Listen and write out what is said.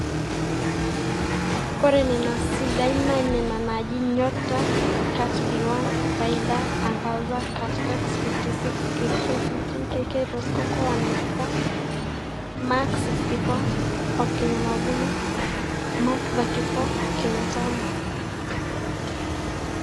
ore nena sidain naa nena naaji; nyota, Kat B1, faida, Angaza, Katx56, KK15, KK Rosecoco 194, Mac 64 (kenya mavuno) Mac 34 ( kenya tamu)